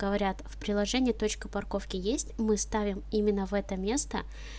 говорят в приложении точка парковки есть мы ставим именно в это место